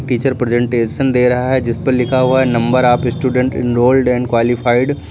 Teacher presentation दे रहा है जिस पर लिखा हुआ है number of student enrolled and qualified.